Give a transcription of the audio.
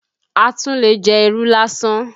A tún lè jẹ irú lásán